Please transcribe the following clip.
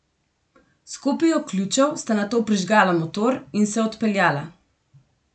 S kopijo ključev sta nato prižgala motor in se odpeljala.